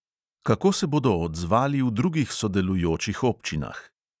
Kako se bodo odzvali v drugih sodelujočih občinah?